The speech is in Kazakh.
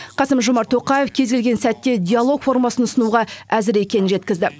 қасым жомарт тоқаев кез келген сәтте диалог формасын ұсынуға әзір екенін жеткізді